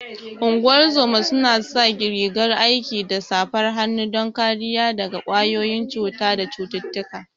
Ungozoma su na sa rigar aiki da safar hannu don kariya daga ƙwayoyin cuta da cututtuka